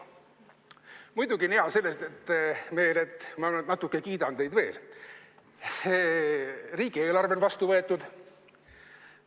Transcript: Muidugi on hea meel selle üle – ma nüüd natuke kiidan teid veel –, et riigieelarve on vastu võetud.